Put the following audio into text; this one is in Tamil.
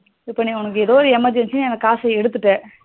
இப்போ உனக்கு ஏதோ emergency னு அந்த காசு எடுத்துட்டா